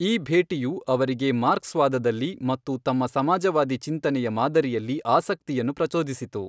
ಈ ಭೇಟಿಯು ಅವರಿಗೆ ಮಾರ್ಕ್ಸ್ವಾದದಲ್ಲಿ ಮತ್ತು ತಮ್ಮ ಸಮಾಜವಾದಿ ಚಿಂತನೆಯ ಮಾದರಿಯಲ್ಲಿ ಆಸಕ್ತಿಯನ್ನು ಪ್ರಚೋದಿಸಿತು.